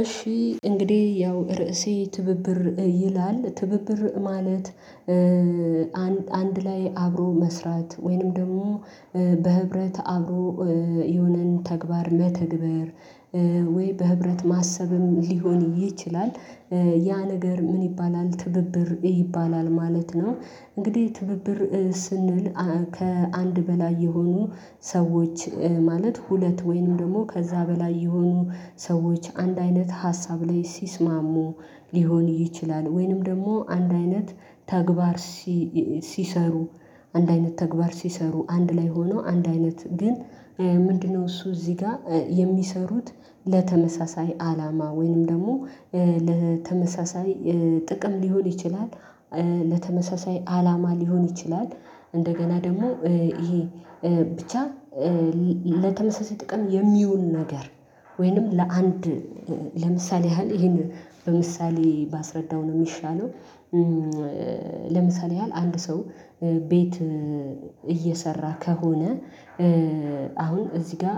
እሺ እንግዲህ ያው ርዕሴ ትብብር ይላል ትብብር ማለት አንድ ላይ አብሮ መስራት ወይንም ደግሞ በህብረት አብሮ የሆነን ተግባር መተግበር ወይ በህብረት ማሰብም ሊሆን ይችላል ያ ነገር ምን ይባላል ትብብር ይባላል ማለት ነው። እንግዲህ ትብብር ስንል ከአንድ በላይ የሆኑ ሰዎች ማለት ሁለት ወይንም ደግሞ ከዛ በላይ የሆኑ ሰዎች አንድ አይነት ሀሳብ ላይ ሲስማሙ ሊሆን ይችላል ወይንም ደግሞ አንድ አይነት ተግባር። ሲሰሩ አንድ አይነት ተግባር ሲሰሩ አንድ ላይ ሆኖ አንድ አይነት ግን? ምንድነው እሱ እዚህ ጋር የሚሰሩት ለተመሳሳይ አላማ ወይንም ደግሞ ለተመሳሳይ ጥቅም ሊሆን ይችላል። ለተመሳሳይ አላማ ሊሆን ይችላል እንደገና ደግሞ ይሄ ብቻ ለተመሳሳይ ጥቅም የሚውል ነገር ወይንም ለአንድ ለምሳሌ ያህል ይሄንን በምሳሌ ባስረዳው ነው የሚሻለው። ለምሳሌ ያህል አንድ ሰው ቤት እየሰራ ከሆነ አሁን እዚህ ጋር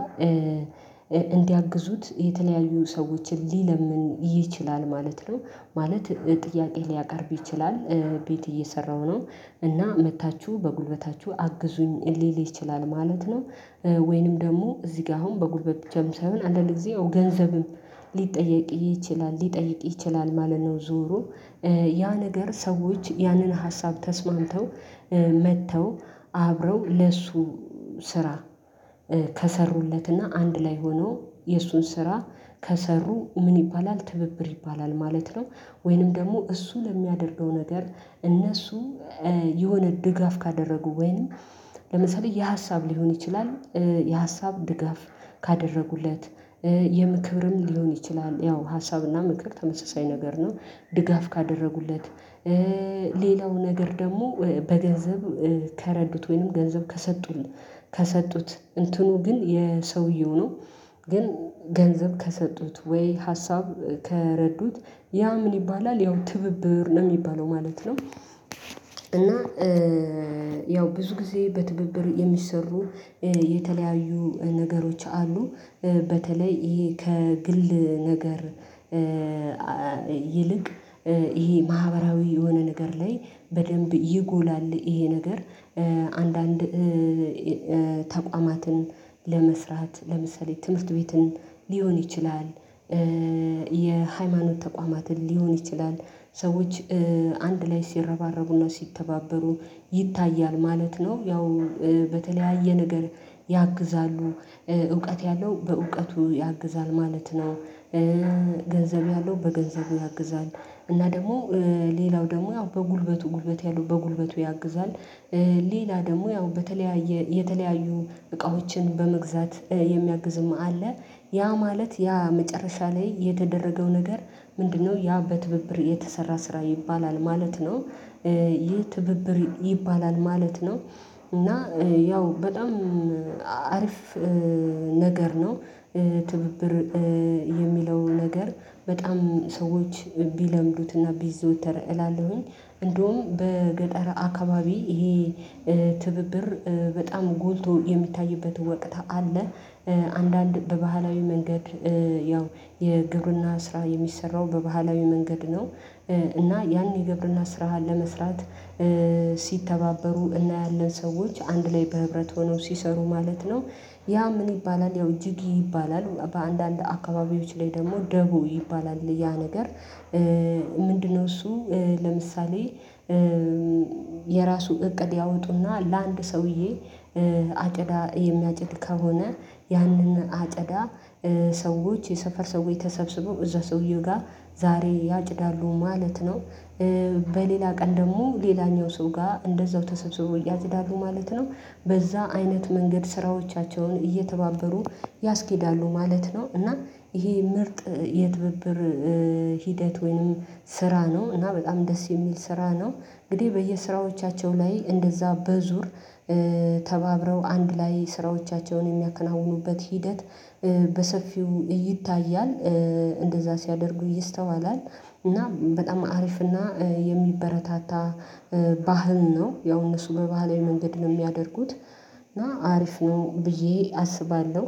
እንዲያግዙት የተለያዩ ሰዎችን ሊለምን ይችላል ማለት ነው። ማለት ጥያቄ ሊያቀርብ ይችላል ቤት እየሰራሁ ነው እና መጥታችሁ በጉልበታችሁ አግዙኝ ሊል ይችላል ማለት ነው። ወይንም ደግሞ እዚህ ጋር አሁን በጉልበት ብቻ አሁን አንድ ለጊዜ ገንዘብም ሊጠየቅ ይችላል ሊጠይቅ ይችላል ማለት ነው። ዞሮ ያ ነገር ሰዎች ያንን ሀሳብ ተስማምተው መጥተው አብረው ለሱ ስራ ከሰሩለትና አንድ ላይ ሆኖ የእሱን ስራ ከሰሩ ምን ይባላል ትብብር ይባላል ማለት ነው። ወይንም ደግሞ እሱ ለሚያደርገው ነገር እነሱ የሆነ ድጋፍ ካደረጉ ወይንም ለምሳሌ የሀሳብ ሊሆን ይችላል የሀሳብ ድጋፍ ካደረጉለት የምክብርም ሊሆን ይችላል ያው ሀሳብና ምክር ተመሳሳይ ነገር ነው። ድጋፍ ካደረጉለት ሌላው ነገር ደግሞ በገንዘብ ከረዱት ወይንም ገንዘብ ከሰጡኝ ከሰጡት እንትኑ ግን የሰውየው ነው ግን ገንዘብ ከሰጡት ወይ ሀሳብ ከረዱት ያ ምን ይባላል ያው ትብብር ነው የሚባለው ማለት ነው። እና ያው ብዙ ጊዜ በትብብር የሚሰሩ የተለያዩ ነገሮች አሉ በተለይ ይሄ ከግል ነገር ይልቅ ይሄ ማህበራዊ የሆነ ነገር ላይ በደንብ ይጎላል ይሄ ነገር አንዳንድ ተቋማትን ለመስራት ለመሰረተ ትምህርት ቤትን ሊሆን ይችላል። የሃይማኖት ተቋማትን ሊሆን ይችላል ሰዎች አንድ ላይ ሲረባረቡና ሲተባበሩ ይታያል ማለት ነው። ያው በተለያየ ነገር ያግዛሉ እውቀት ያለው በእውቀቱ ያግዛል ማለት ነው። ገንዘብ ያለው በገንዘቡ ያግዛል እና ደግሞ ሌላው ደግሞ ያው በጉልበቱ ጉልበት ያለው በጉልበቱ ያግዛል። ሌላ ደግሞ ያው በተለያየ የተለያዩ እቃዎችን በመግዛት የሚያግዝም አለ ያ ማለት ያ መጨረሻ ላይ የተደረገው ነገር ምንድነው ያ በትብብር የተሰራ ስራ ይባላል ማለት ነው። ይህ ትብብር ይባላል ማለት ነው እና ያው በጣም አሪፍ ነገር ነው። ትብብር የሚለው ነገር በጣም ሰዎች ቢለምዱትና ቢዘወተር እላለው እንደውም በገጠር አካባቢ ይሄ ትብብር በጣም ጎልቶ የሚታይበት ወቅት አለ። አንዳንድ በባህላዊ መንገድ ያው የግብርና ስራ የሚሰራው በባህላዊ መንገድ ነው። እና ያን ግብርና ስራህን ለመስራት ሲተባበሩ እና ያለን ሰዎች አንድ ላይ በህብረት ሆነው ሲሰሩ ማለት ነው። ያ ምን ይባላል ያው ጅጊ ይባላል በአንዳንድ አካባቢዎች ላይ ደግሞ ደቦ ይባላል ያ ነገር። ምንድነው? እሱ ለምሳሌ የራሱ እቅድ ያወጡና ለአንድ ሰውዬ አጨዳ የሚያጭድ ከሆነ ያንን አጨዳ ሰዎች የሰፈር ሰዎች ተሰብስበው እዛ ሰውየው ጋር ዛሬ ያጭዳሉ ማለት ነው። በሌላ ቀን ደግሞ ሌላኛው ሰው ጋር እንደዛው ተሰብስበው እያዘዳዱ ማለት ነው። በዛ አይነት መንገድ ስራዎቻቸውን እየተባበሩ ያስኬዳሉ ማለት ነው። እና ይሄ ምርጥ የትብብር ሂደት ወይንም ስራ ነው እና በጣም ደስ የሚል ስራ ነው። እንግዲህ በየስራዎቻቸው ላይ እንደዛ በዙር ተባብረው አንድ ላይ ስራዎቻቸውን የሚያከናውኑበት ሂደት በሰፊው ይታያል። እንደዛ ሲያደርጉ ይስተዋላል እና በጣም አሪፍና የሚበረታታ ባህል ነው። ያው እነሱ በባህል መንገድ ነው የሚያደርጉት እና አሪፍ ነው ብዬ አስባለሁ።